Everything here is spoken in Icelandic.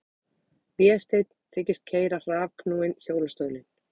Vésteinn þykist keyra rafknúinn hjólastólinn.